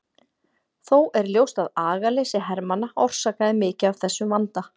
Þó er ljóst að agaleysi hermanna orsakaði mikið af þessum vanda.